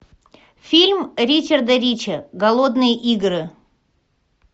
фильм ричарда ричи голодные игры